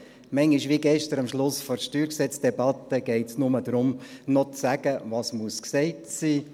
Manchmal – wie gestern am Schluss der Steuergesetz-Debatte – geht es nur darum, noch zu sagen, was gesagt sein muss.